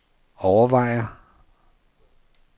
overvejer